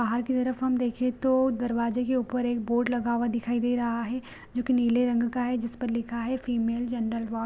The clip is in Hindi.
बाहर की तरफ हम देखे तो दरवाजे के ऊपर एक बोर्ड लगा दिखाई दे रहा है जो की नीले रंग का है जिस पर लिखा है फीमेल जनरल वार्ड --